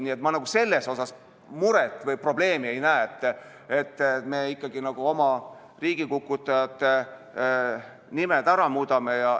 Nii et ma selles muret või probleemi ei näe, kui me riigikukutajate nimed ära muudame.